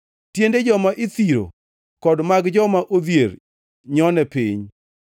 Tiende joma ithiro kod mag joma odhier nyone piny.